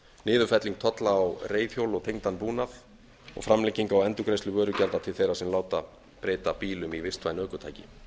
niðurfelling tolla á reiðhjól og tengdan búnað og framlenging á endurgreiðslu vörugjalda til þeirra sem láta breyta bílum í vistvæn ökutæki